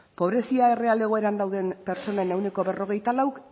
pobrezia erreal egoeran dauden pertsonen ehuneko berrogeita lauk